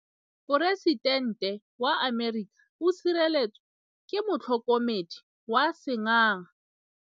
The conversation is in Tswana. Poresitêntê wa Amerika o sireletswa ke motlhokomedi wa sengaga.